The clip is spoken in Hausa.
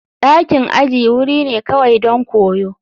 Dakin aji wuri ne kawai don koyo.